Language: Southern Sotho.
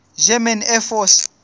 german air force